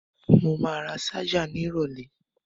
Mo ma ra ṣájà ní ìrọ̀lẹ́